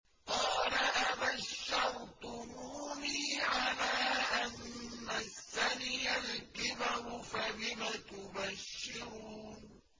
قَالَ أَبَشَّرْتُمُونِي عَلَىٰ أَن مَّسَّنِيَ الْكِبَرُ فَبِمَ تُبَشِّرُونَ